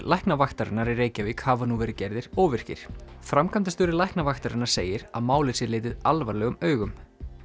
Læknavaktarinnar í Reykjavík hafa nú verið gerðir óvirkir framkvæmdastjóri Læknavaktarinnar segir að málið sé litið alvarlegum augum